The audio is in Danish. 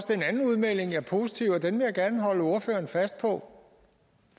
den anden udmelding er positiv og den vil jeg gerne holde ordføreren fast på